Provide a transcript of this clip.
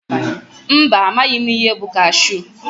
Mba amaghị mụ ihe bụ kashu.